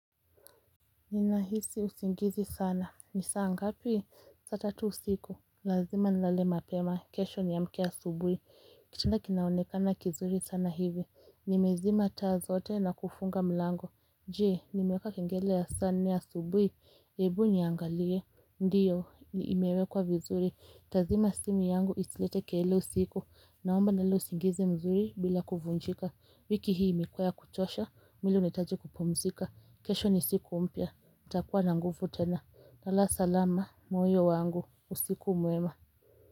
Ninahisi usingizi sana. Nisaa ngapi? Sa tatu siku. Lazima nilale mapema. Kesho niamke asubuhi. Kitanda kinaonekana kizuri sana hivi. Nimezima taa zote na kufunga mlango. Jee, nimeka kengele ya sa nne ya asubuhi. Ebu niangalie. Ndiyo, imewekwa vizuri. Tazima simu yangu isilete kelele usiku. Naomba nilale usingizi mzuri bila kufunjika. Wiki hii imekua ya kuchosha, mwili unaitaji kupumzika. Kesho ni siku mpia. Nitakuwa na nguvu tena. Lala salama moyo wangu. Usiku mwema.